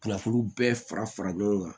Kunnafoni bɛɛ fara fara ɲɔgɔn kan